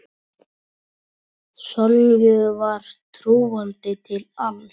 Sonju var trúandi til alls.